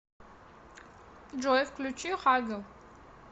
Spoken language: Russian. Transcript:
джой включи хагел